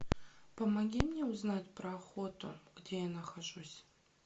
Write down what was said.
помоги мне узнать про охоту где я нахожусь